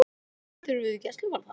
Engar bætur fyrir gæsluvarðhald